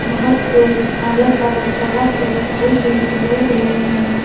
बहोत से अलग-अलग तरह के फूल भी खिले हुए हैं।